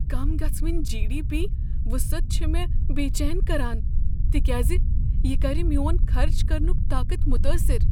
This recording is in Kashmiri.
کم گژھن وٕنۍ جی۔ ڈی۔ پی وٖصعت چھےٚ مےٚ بیچین كران تکیٛاز یہ کر میٛون خرچ کرنک طاقت متٲثر۔